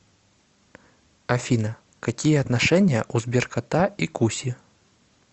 афина какие отношения у сберкота и куси